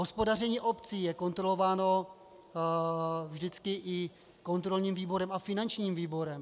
Hospodaření obcí je kontrolováno vždycky i kontrolním výborem a finančním výborem.